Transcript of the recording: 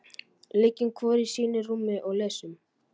Liggjum hvor í sínu rúmi og lesum.